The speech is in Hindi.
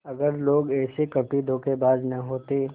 अगर लोग ऐसे कपटीधोखेबाज न होते